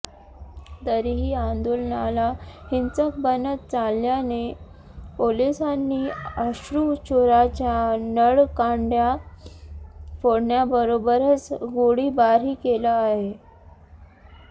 तरीही आंदोलनाला हिंसक बनत चालल्याने पोलिसांनी अश्रुचुराच्या नळकांड्या फोडण्याबरोबरच गोळीबारही केला आहे